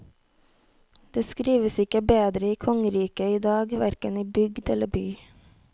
Det skrives ikke bedre i kongeriket idag, hverken i bygd eller by.